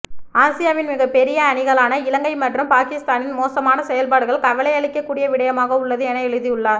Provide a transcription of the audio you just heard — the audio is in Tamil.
ஆசியாவின் மிகபெரிய அணிகளான இலங்கை மற்றும் பாகிஸ்தானின் மோசமான செயல்பாடுகள் கவலையளிக்கூடிய விடயமாக உள்ளது என எழுதியுள்ளார்